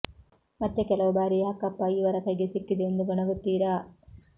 ಮತ್ತೆ ಕೆಲವು ಬಾರಿ ಯಾಕಪ್ಪ ಇವರ ಕೈಗೆ ಸಿಕ್ಕಿದೆ ಎಂದು ಗೊಣಗುತ್ತಿರಾ